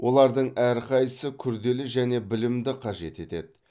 олардың әрқайсысы күрделі және білімді қажет етеді